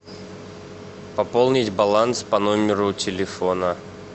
пополнить баланс по номеру телефона